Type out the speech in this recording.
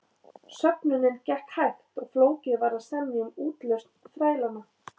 Söfnunin gekk hægt og flókið var að semja um útlausn þrælanna.